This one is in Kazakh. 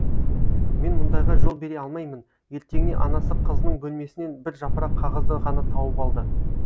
мен мұндайға жол бере алмаймын ертеңіне анасы қызының бөлмесінен бір жапырақ қағазды ғана тауып алды